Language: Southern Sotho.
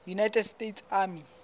united states army